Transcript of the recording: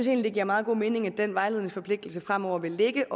at det giver meget god mening at den vejledningsforpligtelse fremover vil ligge